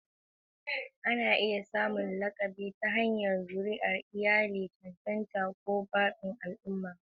Ana iya samun lakabi ta hanyar zuriyar iyali, cancanta, ko zaɓin al'umma.